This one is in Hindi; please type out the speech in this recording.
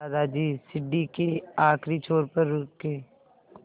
दादाजी सीढ़ी के आखिरी छोर पर रुके